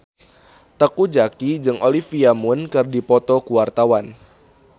Teuku Zacky jeung Olivia Munn keur dipoto ku wartawan